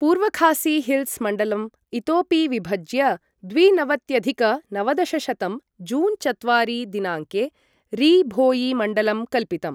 पूर्व खासी हिल्स् मण्डलम् इतोपि विभज्य द्विनवत्यधिक नवदशशतं जून् चत्वारि दिनाङ्के री भोयी मण्डलं कल्पितम्।